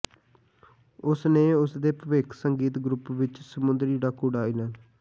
ਉਸ ਨੇ ਉਸ ਦੇ ਭਵਿੱਖ ਸੰਗੀਤ ਗਰੁੱਪ ਵਿੱਚ ਸਮੁੰਦਰੀ ਡਾਕੂ ਡਾਇਲ